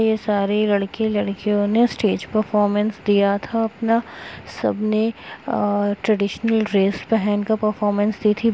ये सारी लड़के लड़कियों ने स्टेज परफॉरमेंस दिया था अपना सबने अ ट्रेडिशनल ड्रेस पहन कर परफॉरमेंस दी थी।